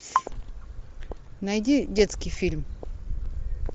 найди детский фильм